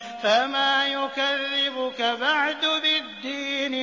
فَمَا يُكَذِّبُكَ بَعْدُ بِالدِّينِ